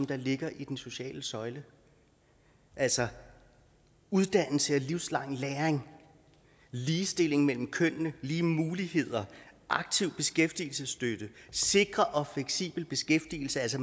der ligger i den sociale søjle altså uddannelse og livslang læring ligestilling mellem kønnene lige muligheder aktiv beskæftigelsesstøtte sikker og fleksibel beskæftigelse altså